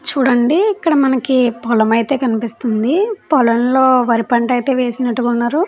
చూడండి ఇక్కడ మనకి పోలం అయితే కనిపిస్తుంది పొలంలో వారి పంట అయితే వేసినట్టుగా ఉన్నారు.